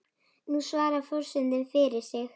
Nú svarar forseti fyrir sig.